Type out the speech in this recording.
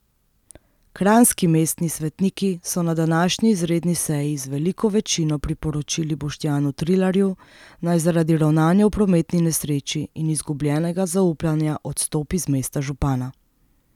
Kranjski mestni svetniki so na današnji izredni seji z veliko večino priporočili Boštjanu Trilarju, naj zaradi ravnanja v prometni nesreči in izgubljenega zaupanja odstopi z mesta župana.